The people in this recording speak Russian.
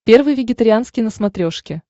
первый вегетарианский на смотрешке